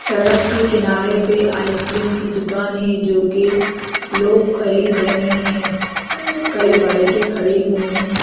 सड़क के किनारे पे आइसक्रीम की दुकान है जो कि लोग खरीद रहे हैं कई बाइकें खड़ी हुई हैं।